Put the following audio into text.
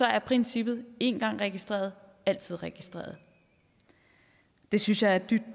er princippet en gang registreret altid registreret det synes jeg er dybt